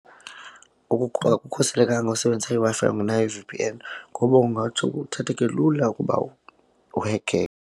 akukhuselekanga usebenzisa iWi-Fi ungenayo i-V_P_N ngoba kungatsho kuthatheke lula ukuba .